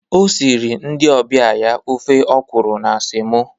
O siri ndị ọbịa ya ofe ọkụrụ na semo